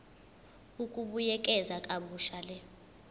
ukubuyekeza kabusha le